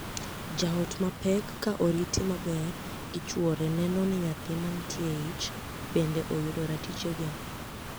Jaot ma pek ka oriti maber gi chwore neno ni nyathi mantie eich bende oyudo ratichege.